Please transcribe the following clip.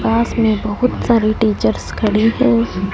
पास में बहोत सारी टीचर्स खड़ी है।